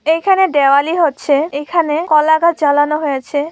এখানে দেওয়ালি হচ্ছে এখানে কলাগাছ জ্বালানো হয়েছে।